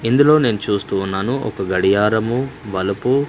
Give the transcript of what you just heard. ఇందులో నేను చూస్తూ ఉన్నాను ఒక గడియారము బలుపూ --